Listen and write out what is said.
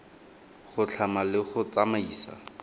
go tlhama le go tsamaisa